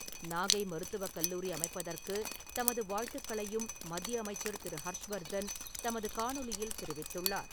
நாகை மருத்துவக் கல்லூரி அமைப்பதற்கு தமது வாழ்த்துக்களையும் மத்திய அமைச்சர் திரு. ஹர்ஷ் வர்தன் தமது காணொலியில் தெரிவித்துள்ளார்.